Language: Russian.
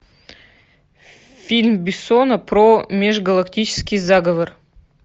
фильм бессона про межгалактический заговор